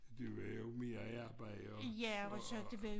Det var jo mere arbejde og og